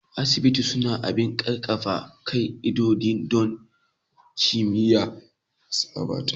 Asibitoci suna bin ƙaƙƙarfan ƙa'idodi don kiyaye tsabta